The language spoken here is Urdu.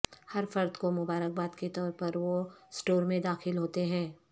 ہر فرد کو مبارکباد کے طور پر وہ اسٹور میں داخل ہوتے ہیں